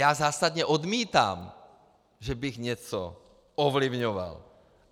Já zásadně odmítám, že bych něco ovlivňoval.